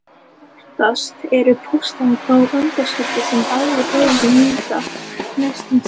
Oftast eru postularnir þó undanskildir sem og aðrir höfundar Nýja testamentisins.